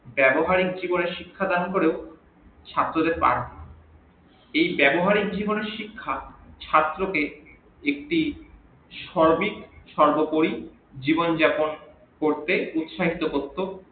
ব্যাবহারিক জীবনে শিক্ষা দান করেও ছাত্র দের এই ব্যাবহারিক জীবনের শিক্ষা ছাত্র কে একটি সঠিক সর্বোপরি জীবন যাপন করতে উৎসাহিত করতো